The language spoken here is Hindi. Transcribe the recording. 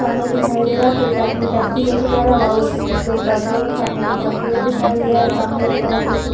सामने दिखाई दे रहा है की एक आदमी टैक्सी लेके जा रहा है। वहाँ उ कुछ लोग बैठे हुए सामने की तरफ पेड़ दिखाई दे रहा है। सामने की तरफ एक --